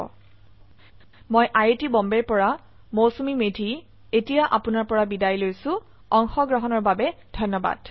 এই পাঠটো অৰুন পাঠকৰ দ্ৱাৰা কৰা হৈছে আইআইটি বোম্বে ৰ পৰা মই মৌচূমী মেধি এতিয়া আপোনাৰ পৰা বিদায় লৈছো যোগদানৰ বাবে ধনয়বাদ